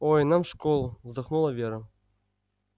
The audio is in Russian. ой нам в школу вздохнула вера